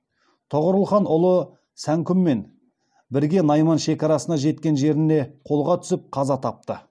тоғорыл хан ұлы сәңкүммен бірге найман шекарасына жеткен жеріне қолға түсіп қаза тапты